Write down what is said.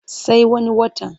Sai wani watan.